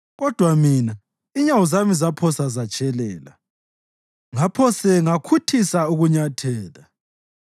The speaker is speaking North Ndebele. Kodwa mina, inyawo zami zaphose zatshelela; ngaphose ngakhuthisa ukunyathela.